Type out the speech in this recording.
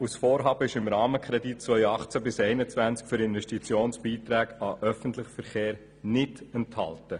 Das Vorhaben ist im Rahmenkredit 2018–2021 für Investitionsbeiträge an den öffentlichen Verkehr nicht enthalten.